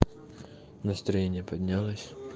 настроение поднялось